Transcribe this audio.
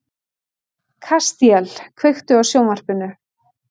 Kastíel, kveiktu á sjónvarpinu.